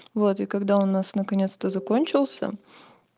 вот и когда у нас наконец-то закончился